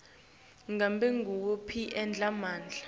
ngabe nguwaphi emandla